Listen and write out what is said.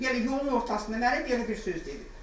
Belə yolun ortasında mənə belə bir söz dedi.